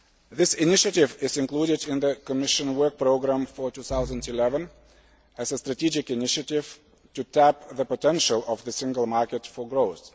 This initiative is included in the Commission work programme for 2011 as a strategic initiative to tap the potential of the single market for growth.